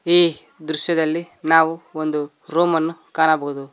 ಈ ದೃಶ್ಯದಲ್ಲಿ ನಾವು ಒಂದು ರೂಮನ್ನು ಕಾಣಬಹುದು